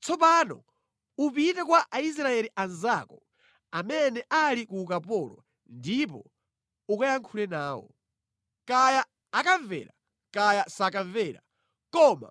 Tsopano upite kwa Aisraeli anzako amene ali ku ukapolo ndipo ukayankhule nawo. ‘Kaya akamvera kaya sakamvera,’ koma